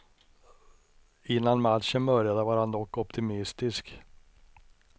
Innan matchen började var han dock optimistisk.